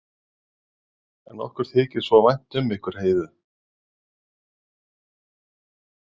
En okkur þykir svo vænt um ykkur Heiðu.